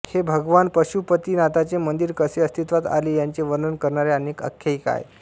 हे भगवान पशुपतिनाथाचे मंदिर कसे अस्तित्वात आले याचे वर्णन करणाऱ्या अनेक आख्यायिका आहेत